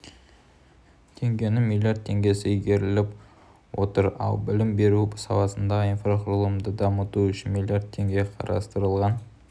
теңгенің млрд теңгесі игеріліп отыр ал білім беру саласындағы инфрақұрылымды дамыту үшін млрд теңге қарастырылған